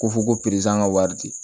Ko fɔ ko perezan ka wari di